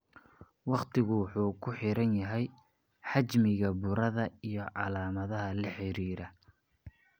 Waqtigu wuxuu ku xiran yahay xajmiga burada iyo calaamadaha la xiriira.